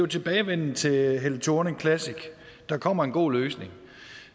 tilbagevenden til helle thorning classic der kommer en god løsning